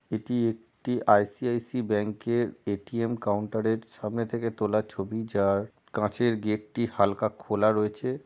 এটি একটি ICICI bank এর এ.টি.এম কাউন্টার এর সামনে থেকে তোলা ছবি যার কাঁচের গেট টি হালকা খোলা রয়েছে।